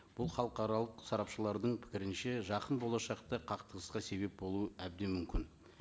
бұл халықаралық сарапшылардың пікірінше жақын болашақта қақтығысқа себеп болуы әбден мүмкін